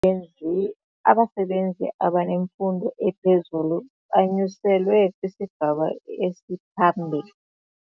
Abasebenzi abanemfundo ephezulu banyuselwe kwisigaba esiphambili.